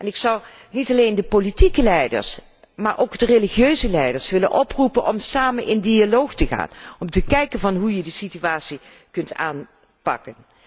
Ik zou niet alleen de politieke leiders, maar ook de religieuze leiders willen oproepen om samen in dialoog te gaan om te bekijken hoe deze situatie kan worden aangepakt.